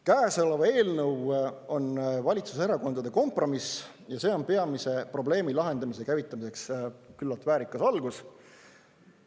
Käesolev eelnõu on valitsuserakondade kompromiss ja see on peamise probleemi lahendamise käivitamiseks küllalt väärikas algus.